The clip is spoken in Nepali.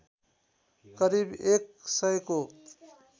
करिब एक सयको